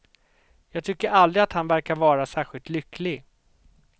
Jag tycker aldrig att han verkar vara särskilt lycklig.